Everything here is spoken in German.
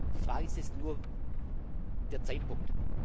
Die Frage ist nur der Zeitpunkt.